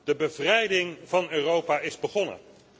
De bevrijding van Europa is begonnen.